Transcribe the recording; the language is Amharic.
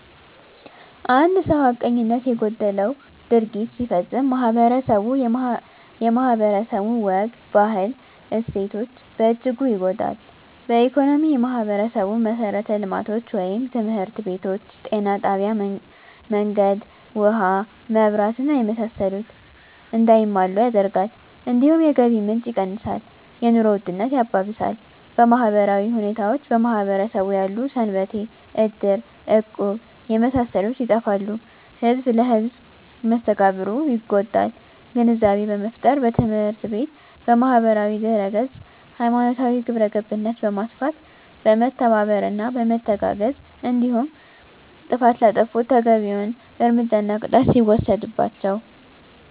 አንድ ሰው ሀቀኝነት የጎደለው ድርጊት ሲፈፀም ማህበረስቡ የማህበረሰቡ ወግ ባህል እሴቶች በእጅጉ ይጎዳል በኢኮኖሚ የማህበረሰቡን መሠረተ ልማቶች( ትምህርት ቤቶች ጤና ጣቢያ መንገድ ውሀ መብራት እና የመሳሰሉት) እንዳይሟሉ ያደርጋል እንዲሁም የገቢ ምንጭ የቀንሳል የኑሮ ውድነት ያባብሳል በማህበራዊ ሁኔታዎች በማህበረሰቡ ያሉ ሰንበቴ እድር እቁብ የመሳሰሉት ይጠፋሉ ህዝብ ለህዝም መስተጋብሩ ይጎዳል ግንዛቤ በመፍጠር በትምህርት ቤት በማህበራዊ ድህረገፅ ሀይማኖታዊ ግብረገብነት በማስፋት በመተባበርና በመተጋገዝ እንዲሁም ጥፍት ላጠፉት ተገቢዉን እርምጃና ቅጣት ሲወሰድባቸው